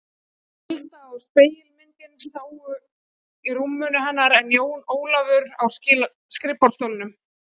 Tilda og spegilmyndin sátu á rúminu hennar en Jón Ólafur á skrifborðsstólnum.